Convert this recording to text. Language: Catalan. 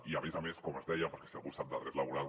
i a més a més com es deia perquè si algú sap de dret laboral